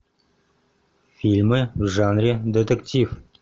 фильмы в жанре детектив